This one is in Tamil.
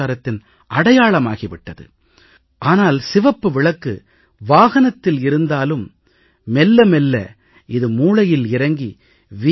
கலாச்சாரத்தின் அடையாளமாகி விட்டது ஆனால் சிவப்பு விளக்கு வாகனத்தில் இருந்தாலும் மெல்ல மெல்ல இது மூளையில் இறங்கி வி